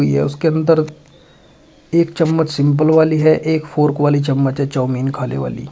यह उसके अंदर एक चम्मच सिंपल वाली है एक फोर्क वाली चम्मच चाऊमीन खाने वाली।